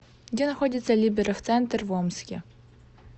где находится либеров центр в омске